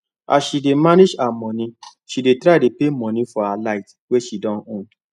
as she dey manage her money she dey try to pay money for light wey she don owe